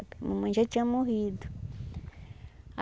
A mamãe já tinha morrido.